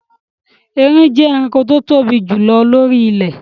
Erin jẹ́ ẹranko tí o tóbi jù lọ lóri ilẹ̀